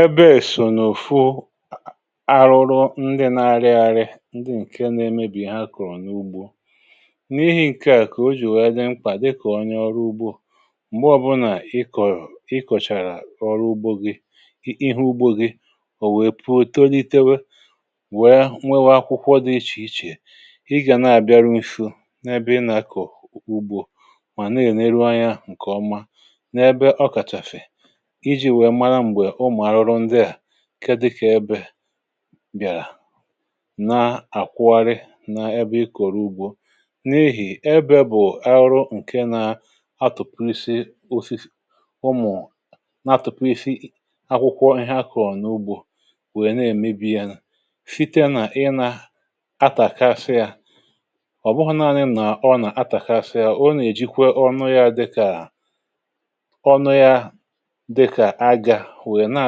Ebe èsònò fụ arụrụ ndị na-arị arị, ndị ǹke na-emebì ha kụ̀rụ̀ n’ugbȯ. n’ihi̇ ǹke à kà o jì wèe dị nkwà dịkà onye ọrụ ugbȯ, m̀gbè ọ̀bụlà ị kọ̀rọ̀ i kọ̀chàrà ọrụ ugbȯ gị ihe ugbȯ gị ò wèe pụtolitewe wèe nwewe akwụkwọ dị ichè ichè, i gà na-àbịaru nsọ n’ebe ị nà-akọ̀ ugbȯ, mà na-èneruanwị ȧ ǹkè ọma n’ebe ọ kàchàfè, ịjị wèè mara mgbe ụmụ arụrụ ndịa ihe dịkà ebe biàrà, na-àkwari n’ebe ị kòrò ugbȯ. N’ihì ebe bụ̀ arụrụ ǹke na-atụ̀pụ̀ isi ofisi ụmụ̀ na-atụ̀pụ̀ isi akwụkwọ ihe akọ̀ọ̀ n’ugbȯ nwèe na-èmebi ya, site nà ị nà atàkasiȧ. ọ̀ bụhụ̇nanị nà ọ nà atàkasiȧ, ọ nà-èjikwe ọrụ ya dịkà- ọnụ ya dịka aga wèè na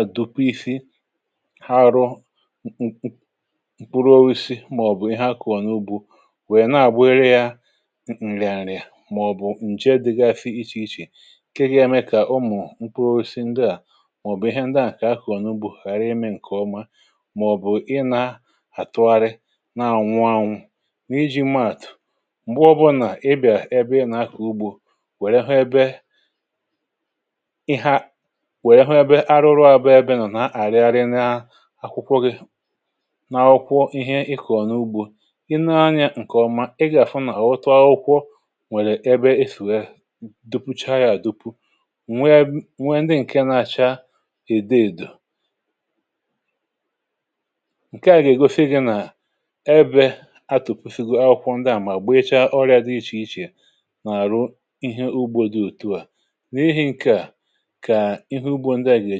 atapụsị ha rụ̇ ǹkpụrụisi, màọ̀bụ̀ ihe akọ̀ọ̀ n’ugbȯ, nwèe na-àgbere yȧ ǹrị̀àǹrị̀à, màọ̀bụ̀ ǹje dị̇gȧ fịa ichè ichè, kekie eme kà ụmụ̀ nkpụrụisi ndị à, màọ̀bụ̀ ihe ndị à kà akọ̀ọ̀ n’ugbȯ ghàra imi ǹkè̀ọma, màọ̀bụ̀ ị nà-àtụgharị na-ànwụ anwụ. Nà iji̇ maàtụ̀, m̀gbe ọbụlà ị bịà ebe na-akọ̀ ugbȯ wèè hụ ebe ebe arụrụ abu ebe mà nà-àrị arị n’akwụkwọ gị̇, n’akwụkwọ ihe ịkọ̀ n’ugbȯ. i nee anyȧ ǹkè ọma ị gà-àfụ nà ọ tụ akwụkwọ nwèrè ebe e fùe dupu chọọ yȧ dupu, ǹwee ndị ǹke na-acha ède èdò. ǹke à gà-ègosi gị nà ebė atụ̀pusigo akwụkwọ ndị à mà gbe ị chọọ ọrịȧ dị ichè ichè n’àrụ ihe ugbo dị òtu à. N’ihi ǹkè a ka ịhe ụgbọ ndịa ga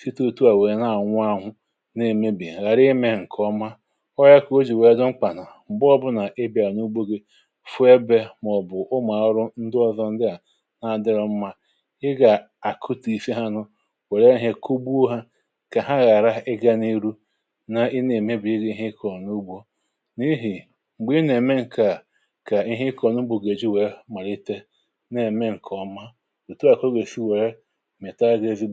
site òtù à nwèrè na-àṅụ ahụ, n’imebì, ghàra imė ǹkè ọma. ọ gà o jì nwère gọmkpà nà m̀gbe ọbụnà nà ibè à n’ugbu gị fụ ebė màọ̀bụ̀ ụmụ̀ọ̀ ọrụ ndụ ọ̀zọ ndụ à adịrọ mmȧ, ị gà àkụtịfe ha, nụ wèe nà ihe kụ gbuo kà ha ghàra ịgȧ n’ihu na, ị na-èmebì ihe ịkọ̀ n’ugbȯ. N’ihì m̀gbè ị nà-ème ǹkè à kà ihe ịkọ̀ n’ugbù gèrè ji wèe màrịtė na-ème ǹkè ọma ǹkè ọ̀tù ihe dị.